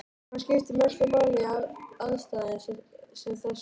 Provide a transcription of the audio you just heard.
Hvað skiptir mestu máli í aðstæðum sem þessum?